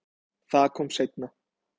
Það kom seinna